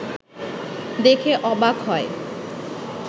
দেখে অবাক হয়